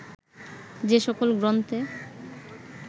যে সকল গ্রন্থে